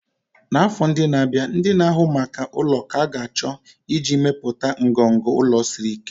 n'afọ ndị na-abịa, ndị na-ahụ maka ụlọ ka ga-achọ ájá iji mepụta ngọngọ ụlọ siri ike.